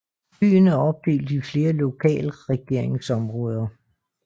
Byen er opdelt i flere lokalregeringsområder